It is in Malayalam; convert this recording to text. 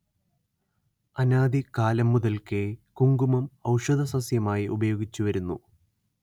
അനാദി കാലം മുതൽക്കേ കുങ്കുമം ഔഷധസസ്യമായി ഉപയോഗിച്ചുവരുന്നു